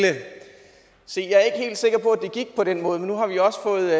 se jeg er ikke helt sikker på at det gik på den måde men nu har vi jo også fået